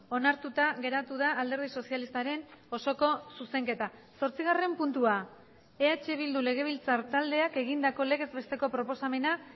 onartuta geratu da alderdi sozialistaren osoko zuzenketa zortzigarren puntua eh bildu legebiltzar taldeak egindako legez besteko proposamena